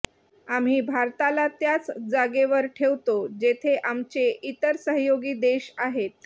आम्ही भारताला त्याच जागेवर ठेवतो जेथे आमचे इतर सहयोगी देश आहेत